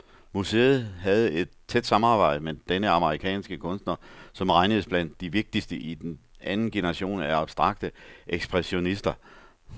Museet havde et tæt samarbejde med denne amerikanske kunstner, som regnedes blandt de vigtigste i den anden generation af abstrakte ekspressionister.